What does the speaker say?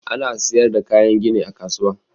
Ana siyar da kayan gini a kasuwa.